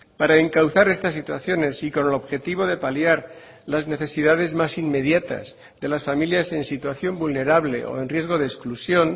para encauzar estas situaciones y con el objetivo de paliar las necesidades más inmediatas de las familias en situación vulnerable o en riesgo de exclusión